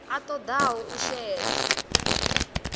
a ṱo ḓaho u shela